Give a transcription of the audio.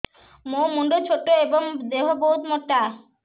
ମୋ ମୁଣ୍ଡ ଛୋଟ ଏଵଂ ଦେହ ବହୁତ ମୋଟା